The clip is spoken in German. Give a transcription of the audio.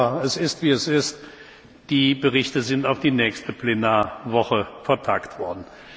Aber es ist, wie es ist Die Berichte sind auf die nächste Plenarwoche vertagt worden.